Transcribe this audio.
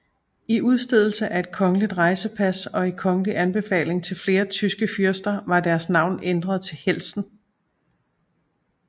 I udstedelse af et kongelig rejsepas og i kongelig anbefaling til flere tyske fyrster var deres navn ændret til Heltzen